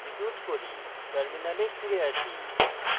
terminal ফিরে আসি